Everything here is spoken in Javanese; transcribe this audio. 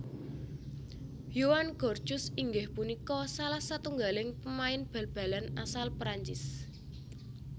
Yoann Gourcuff inggih punika salah satunggaling pemain Bal balan asal Perancis